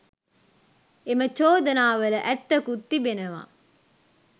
එම චෝදනා වල ඇත්තකුත් තිබෙනවා.